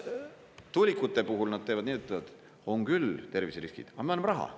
" Tuulikute puhul nad teevad nii, et ütlevad: "On küll terviseriskid, aga me anname raha.